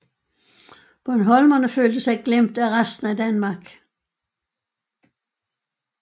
Bornholmerne følte sig glemt af resten af Danmark